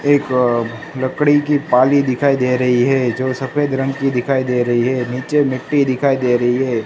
एक लकड़ी की पाली दिखाई दे रही है जो सफेद रंग की दिखाई दे रही है नीचे मिट्टी दिखाई दे रही है।